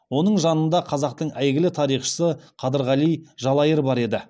оның жанында қазақтың әйгілі тарихшысы қадырғали жалайыр бар еді